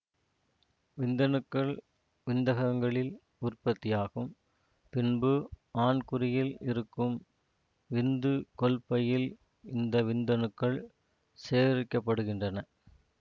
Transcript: விந்தணுக்கள் விந்தகங்களில் உற்பத்தியாகும் பின்பு ஆண்குறியில் இருக்கும் விந்துகொள்பையில் இந்த விந்தணுக்கள் சேகரிக்கப்படுகின்றன